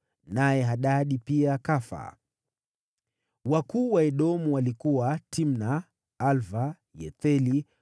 Naye Hadadi pia akafa. Wakuu wa Edomu walikuwa: Timna, Alva, Yethethi,